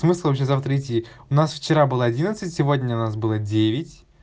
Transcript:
смысл вообще завтра идти у нас вчера было одиннадцать сегодня нас было девять